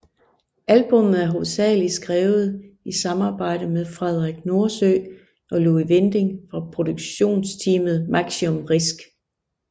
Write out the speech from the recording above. Albummet er hovedsageligt skrevet i samarbejde med Frederik Nordsø og Louis Winding fra producerteamet Maximum Risk